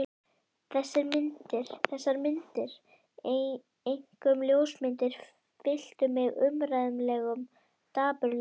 Þessar myndir, einkum ljósmyndirnar, fylltu mig óumræðilegum dapurleika.